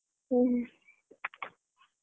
ಹ್ಮ